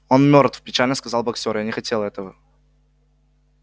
он мёртв печально сказал боксёр я не хотел этого